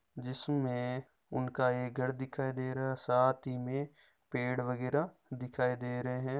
जिस में उनका एक घर दिखाई दे रहा हैं साथ ही में पेड़ वगेरा दिखाई दे रहे हैं।